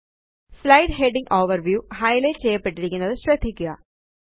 slide heading overview highlight ചെയ്യപ്പെട്ടിരിക്കുന്നത് ശ്രദ്ധിക്കുക